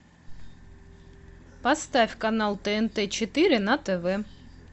поставь канал тнт четыре на тв